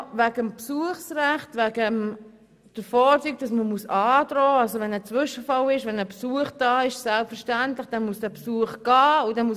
Noch zum Besuchsrecht und der Androhung: Erhält ein Insasse Besuch und es passiert ein Zwischenfall, ist es selbstverständlich, dass dieser Besuch die Institution verlassen muss.